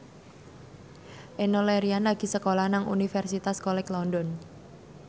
Enno Lerian lagi sekolah nang Universitas College London